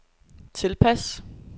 tilpas